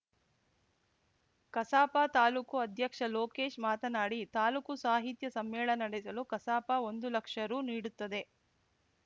ಕಸಾಪ ತಾಲೂಕು ಅಧ್ಯಕ್ಷ ಲೋಕೇಶ್‌ ಮಾತನಾಡಿ ತಾಲೂಕು ಸಾಹಿತ್ಯ ಸಮ್ಮೇಳನ ನಡೆಸಲು ಕಸಾಪ ಒಂದು ಲಕ್ಷ ರು ನೀಡುತ್ತದೆ